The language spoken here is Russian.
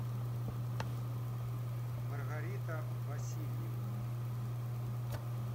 маргарита васильева